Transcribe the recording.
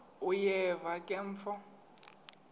uyeva ke mfo